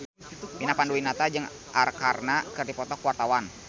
Vina Panduwinata jeung Arkarna keur dipoto ku wartawan